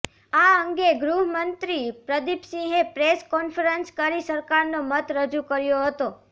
આ અંગે ગૃહમંત્રી પ્રદિપસિંહે પ્રેસ કોન્ફરન્સ કરી સરકારનો મત રજૂ કર્યો હતો